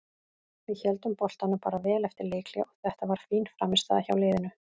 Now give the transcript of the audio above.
Við héldum boltanum bara vel eftir leikhlé og þetta var fín frammistaða hjá liðinu.